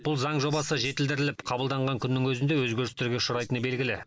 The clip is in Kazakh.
бұл заң жобасы жетілдіріліп қабылданған күннің өзінде өзгерістерге ұшырайтыны белгілі